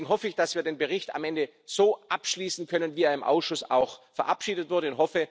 Und deswegen hoffe ich, dass wir den Bericht am Ende so abschließen können, wir er im Ausschuss auch verabschiedet wurde.